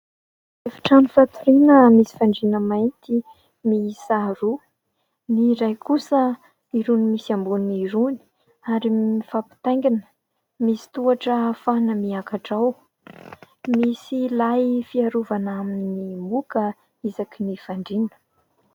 Efitrano fatoriana misy fandriana mainty miisa roa ; ny iray kosa irony misy amboniny irony ary mifampitaingina. Misy tohatra ahafahana miakatra ao. Misy lay fiarovana amin'ny moka isakin'ny fandriana.